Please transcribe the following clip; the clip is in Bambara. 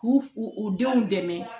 K'u u u denw dɛmɛ